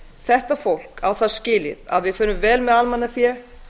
þetta fólk á það skilið að við förum vel með almannafé